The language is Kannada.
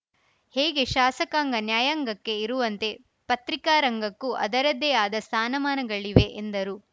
ಹೇಗೆ ಶಾಸಕಾಂಗ ನ್ಯಾಯಾಂಗಕ್ಕೆ ಇರುವಂತೆ ಪತ್ರಿಕಾ ರಂಗಕ್ಕೂ ಅದರದ್ದೇ ಆದ ಸ್ಥಾನಮಾನಗಳಿವೆ ಎಂದರು